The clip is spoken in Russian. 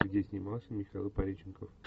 где снимался михаил пореченков